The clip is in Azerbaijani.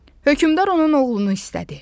Hökmdar onun oğlunu istədi.